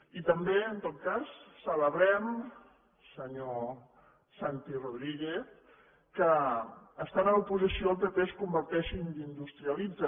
i també en tot cas celebrem senyor santi rodríguez que estant a l’oposició el pp es converteixi en industrialista